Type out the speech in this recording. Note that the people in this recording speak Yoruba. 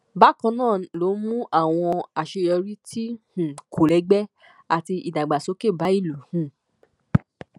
bákan náà ló mú àwọn àṣeyọrí tí um kò lẹgbẹ àti ìdàgbàsókè bá ìlú um